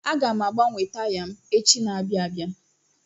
Aga m agbanwe taya m echi n'abia abịa.